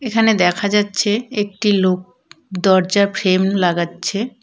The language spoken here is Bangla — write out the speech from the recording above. এখানে দেখা যাচ্ছে একটি লোক দরজার ফ্রেম লাগাচ্ছে।